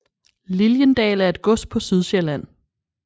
Lilliendal er et gods på Sydsjælland